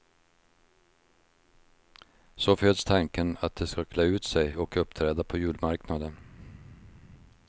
Så föds tanken att de ska klä ut sig och uppträda på julmarknaden.